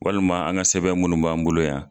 Walima an ka sɛbɛn minnu b'an bolo yan.